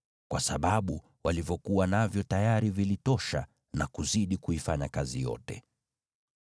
kwa sababu walivyokuwa navyo tayari vilitosha na kuzidi kuifanya kazi yote.